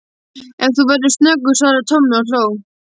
Ef þú verður snöggur svaraði Tommi og hló.